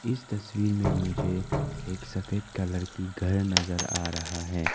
इस तस्वीर में मुझे एक सफेद कलर की घर नजर आ रहा है।